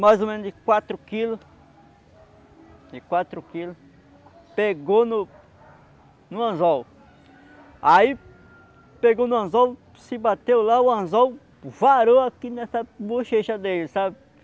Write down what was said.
mais ou menos de quatro quilos de quatro quilos pegou no no anzol aí pegou no anzol se bateu lá o anzol varou aqui nessa bochecha dele, sabe?